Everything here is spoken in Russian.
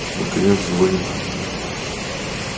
наконец звонит